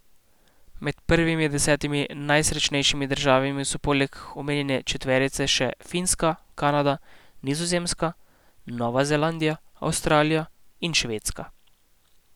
Med prvimi desetimi najsrečnejšimi državami so poleg omenjene četverice še Finska, Kanada, Nizozemska, Nova Zelandija, Avstralija in Švedska.